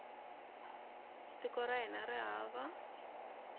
tiko ra hina ri va